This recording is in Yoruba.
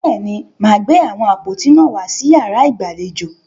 Bẹ́ẹ̀ni, màá gbé àwọn àpótí náà wàá sí yàrá ìgbàlejò.